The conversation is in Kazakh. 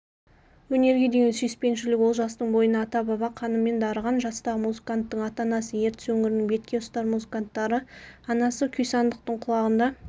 өнерге деген сүйіспеншілік олжастың бойына ата-баба қанымен дарыған жастағы музыканттың ата-анасы ертіс өңірінің бетке ұстар музыканттары анасы күйсандықтың құлағында ойнаса әкесі